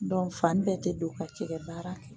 fani bɛɛ tɛ don ka cɛgɛ baara kɛ